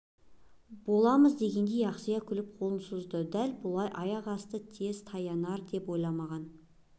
боламыз дегендей ақсия күліп қолын созды дәл бұлай аяқасты тез таянар деп ойламаған